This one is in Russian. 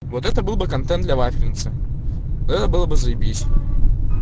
вот это был бы контент для вафельницы это было бы заебись